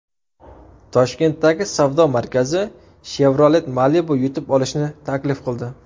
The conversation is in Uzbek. Toshkentdagi savdo markazi Chevrolet Malibu yutib olishni taklif qildi.